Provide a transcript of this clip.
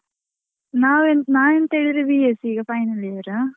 ನಾ~ ನಾನ್ ಎಂತ ಹೇಳಿದ್ರೆ B.sc ಈಗ final year .